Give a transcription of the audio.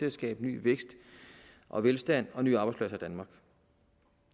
at skabe ny vækst og velstand og nye arbejdspladser